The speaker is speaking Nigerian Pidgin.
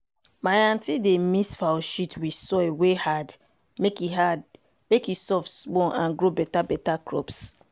my aunty dey mix fowl shit with soil wey hard mek e hard mek e soft small and grow beta-beta crops.